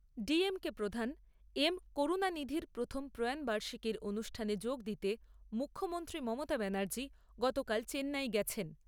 ডিএমকে প্রধান এম করুণানিধির প্রথম প্রয়াণবার্ষিকীর অনুষ্ঠানে যোগ দিতে মুখ্যমন্ত্রী মমতা ব্যানার্জী গতকাল চেন্নাই গেছেন।